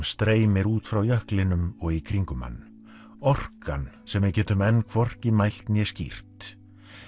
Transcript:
streymir út frá jöklinum og í kringum hann orkan sem við getum enn hvorki mælt né skýrt